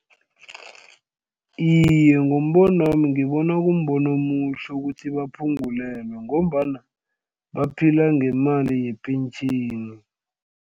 Iye, ngombonwami ngibona kumbono omuhle ukuthi baphungulelwe ngombana baphila ngemali yepentjheni.